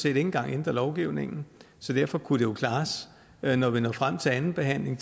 ikke engang ændre lovgivningen så derfor kunne det jo klares når når vi når frem til andenbehandlingen